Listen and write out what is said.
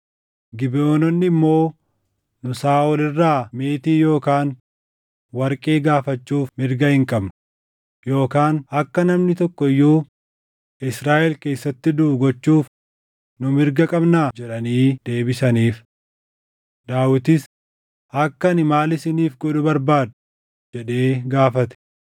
Gibeʼoononni immoo, “Nu Saaʼol irraa meetii yookaan warqee gaafachuuf mirga hin qabnu; yookaan akka namni tokko iyyuu Israaʼel keessatti duʼu gochuuf nu mirga qabnaa?” jedhanii deebisaniif. Daawitis, “Akka ani maal isiniif godhu barbaaddu?” jedhee gaafate.